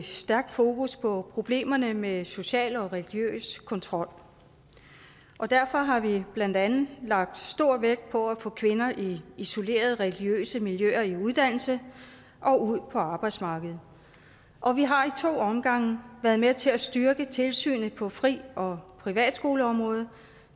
stærkt fokus på problemerne med social og religiøs kontrol og derfor har vi blandt andet lagt stor vægt på at få kvinder i isolerede religiøse miljøer i uddannelse og ud på arbejdsmarkedet og vi har i to omgange været med til at styrke tilsynet på friskole og privatskoleområdet